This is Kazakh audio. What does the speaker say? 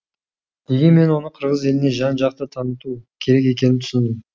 дегенмен оны қырғыз еліне жан жақты таныту керек екенін түсіндім